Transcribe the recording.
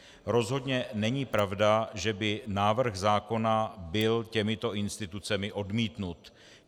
Rozhodně není pravda, že by návrh zákona byl těmito institucemi odmítnut.